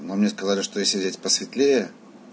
но мне сказали что если взять посветлее